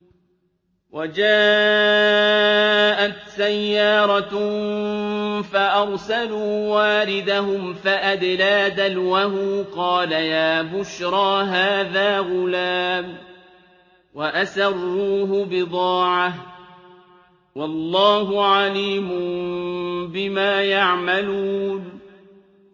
وَجَاءَتْ سَيَّارَةٌ فَأَرْسَلُوا وَارِدَهُمْ فَأَدْلَىٰ دَلْوَهُ ۖ قَالَ يَا بُشْرَىٰ هَٰذَا غُلَامٌ ۚ وَأَسَرُّوهُ بِضَاعَةً ۚ وَاللَّهُ عَلِيمٌ بِمَا يَعْمَلُونَ